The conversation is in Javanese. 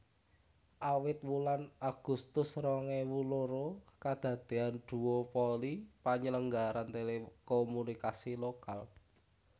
Awit wulan Agustus rong ewu loro kedadeyan duopoli penyelenggaraan telekomunikasi lokal